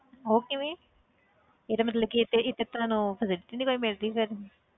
ਉਹ ਕਿਵੇਂ ਇਹਦਾ ਮਤਲਬ ਕਿ ਇੱਥੇ ਇੱਥੇ ਤੁਹਾਨੂੰ facility ਨੀ ਕੋਈ ਮਿਲ ਰਹੀ ਫਿਰ